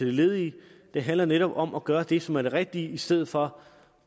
ledige det handler netop om at gøre det som er det rigtige i stedet for